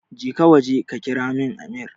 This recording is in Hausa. Jeka waje ka kiramin amir